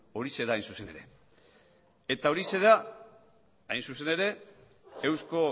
horixe da hain zuzen ere eta horixe da hain zuzen ere eusko